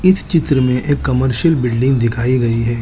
इस चित्र में एक कमर्शियल बिल्डिंग दिखाई गई है।